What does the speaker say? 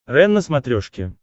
рен на смотрешке